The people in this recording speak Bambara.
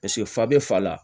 Paseke fa bɛ fa la